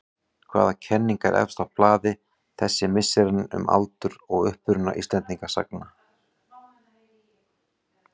Hvaða kenning er efst á blaði þessi misserin um aldur og uppruna Íslendingasagna?